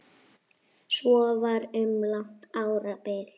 Svo var um langt árabil.